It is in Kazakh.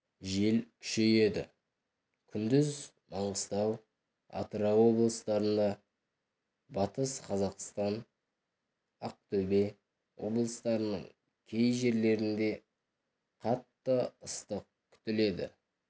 жел күшейеді күндіз маңғыстау атырау облыстарында батыс қазақстан ақтөбе облыстарының кей жерлерінде қатты ыстық күтіледі